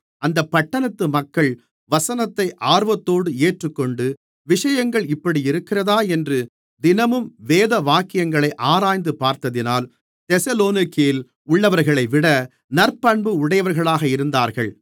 அந்தப் பட்டணத்து மக்கள் வசனத்தை ஆர்வத்தோடு ஏற்றுக்கொண்டு விஷயங்கள் இப்படியிருக்கிறதா என்று தினமும் வேதவாக்கியங்களை ஆராய்ந்துபார்த்ததினால் தெசலோனிக்கேயில் உள்ளவர்களைவிட நற்பண்பு உடையவர்களாக இருந்தார்கள்